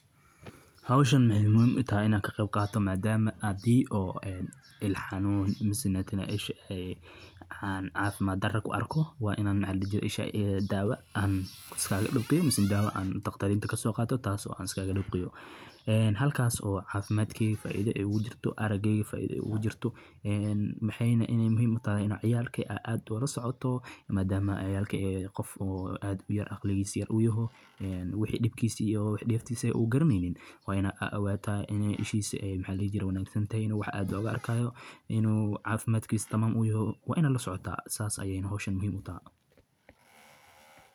Howshan waxee muhiim utahay in an ka qeb qato madama hadii oo il xanun mase cafimaad dare u arko waa in dawa kaso qato si an iskaga dibqiyo ee halkas oo cafimaadmey ee faidho egu jirto arageyga faidha igu jirto, waxena muhiim u tahay aa lasocoto madama miid yar u yahay oo dibkisi iyo dentisa u garaneynin laga yawa in ishisa ee wanagsantahay waa aad loga arkayo in cafimaadkisa u tamam yaho waa in aa lasocota sas ayey howshan muhiim u tahay.